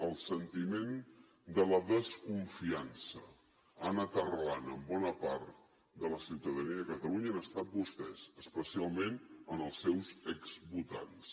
el sentiment de la desconfiança ha anat arrelant en bona part de la ciutadania de catalunya ha estat en vostès especialment en els seus exvotants